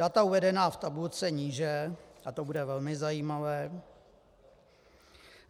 Data uvedená v tabulce níže, a to bude velmi zajímavé,